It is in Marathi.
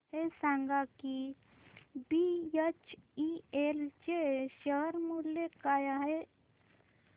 हे सांगा की बीएचईएल चे शेअर मूल्य काय आहे